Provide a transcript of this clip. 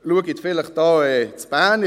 Schauen Sie vielleicht in Bern.